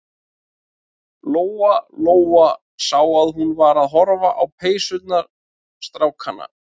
Lóa-Lóa sá að hún var að horfa á peysurnar strákanna.